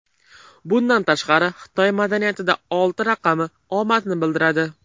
Bundan tashqari, Xitoy madaniyatida olti raqami omadni bildiradi.